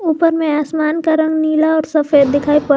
ऊपर में आसमान का रंग नीला और सफेद दिखाई पड़--